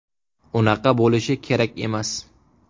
Unaqa bo‘lishi kerak emas.